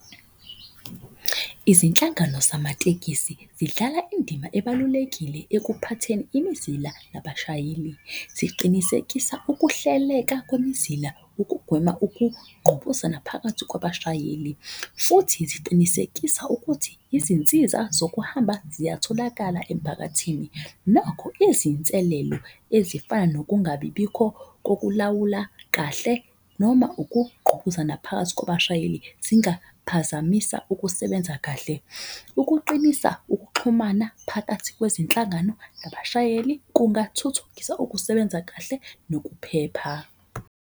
Izinhlangano zamatekisi zidlala indima ebalulekile ekuphatheni imizila nabashayeli. Ziqinisekisa ukuhleleka kwemizila, ukugwema ukuqhubuzana phakathi kwabashayeli. Futhi ziqinisekisa ukuthi izinsiza zokuhamba ziyatholakala emphakathini. Nokho, izinselelo ezifana nokungabibikho kokulawula kahle. Noma ukuqhubuzana phakathi kwabashayeli zingaphazamisa ukusebenza kahle. Ukuqinisa ukuxhumana phakathi kwezinhlangano nabashayeli kungathuthukisa ukusebenza kahle nokuphepha.